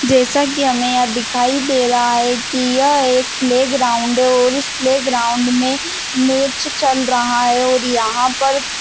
जैसा कि हमें यहाँ दिखाई दे रहा है कि यह एक प्लेग्राउंड है और इस प्लेग्राउंड में मैच चल रहा है और यहाँ पर --